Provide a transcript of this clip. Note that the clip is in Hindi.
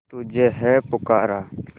तुझे है पुकारा